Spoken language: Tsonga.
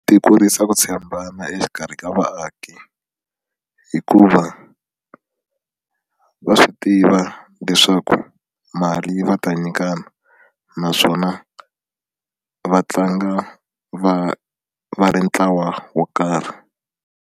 Ti kurisa ku tshembana exikarhi ka vaaki hikuva va swi tiva leswaku mali va ta nyikana naswona va tlanga va va ri ntlawa wo karhi.